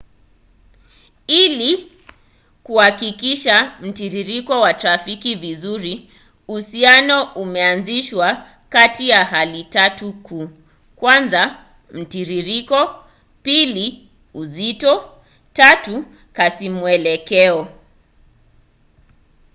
ili kuwakilisha mtiririko wa trafiki vizuri uhusiano umeanzishwa kati ya hali tatu kuu: 1 mtiririko 2 uzito 3 kasimwelekeo